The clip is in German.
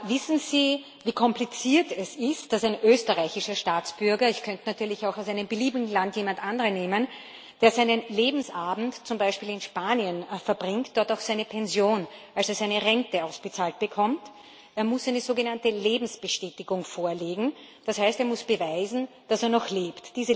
Wissen Sie, wie kompliziert es ist, dass ein österreichischer Staatsbürger ich könnte natürlich auch jemanden aus einem beliebigen anderen Land nehmen ,der seinen Lebensabend zum Beispiel in Spanien verbringt, dort auch seine Pension, also seine Rente ausbezahlt bekommt? Er muss eine sogenannte Lebensbestätigung vorlegen, das heißt, er muss beweisen, dass er noch lebt.